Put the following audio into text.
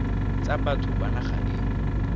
tsa batho ba naga e